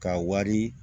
Ka wari